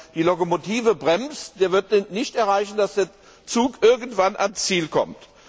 Wer die Lokomotive bremst, der wird nicht erreichen, dass der Zug irgendwann ans Ziel kommt.